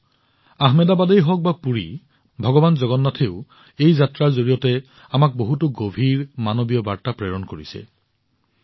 বন্ধুসকল আহমেদাবাদেই হওক বা পুৰীয়েই হওক ভগৱান জগন্নাথেও এই যাত্ৰাৰ জৰিয়তে আমাক বহুতো গভীৰ মানৱীয় বাৰ্তা প্ৰদান কৰে